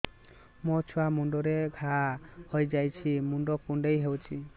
ମୋ ଛୁଆ ମୁଣ୍ଡରେ ଘାଆ ହୋଇଯାଇଛି ମୁଣ୍ଡ କୁଣ୍ଡେଇ ହେଉଛି